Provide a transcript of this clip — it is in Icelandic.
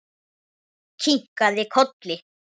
Kinkaði kolli.